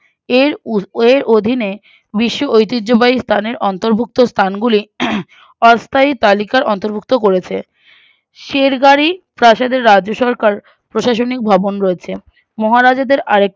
এর এর অধীনে বিশ্ব ঐতিহ্যবাহী স্থানের অন্তর্ভুক্ত স্থানগুলি আহ অস্থায়ী তালিকার অন্তর্ভুক্ত গড়েছে সের্গারি প্রাসাদের রাজ্যসরকার প্রশাসনিক ভবন রয়েছে মহারাজাদের আর একটি